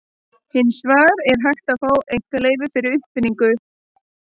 Hins vegar er hægt að fá einkaleyfi fyrir uppfinningu.